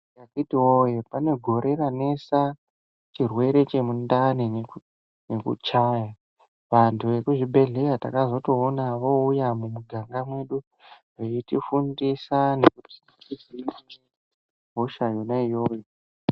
Akiti woye pane gore ranesa chirwere chemundani nekuchaya vantu vemuzvibhedhlera takazoona vouya mumiganga medu veitifundisa tohina sei hosha yona iyoyo.